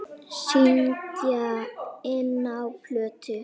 Syngja inná plötu.